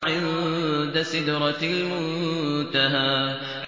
عِندَ سِدْرَةِ الْمُنتَهَىٰ